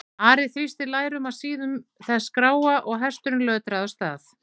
Ari þrýsti lærum að síðum þess gráa og hesturinn lötraði af stað.